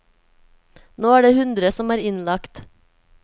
Nå er det hundre som er innlagt.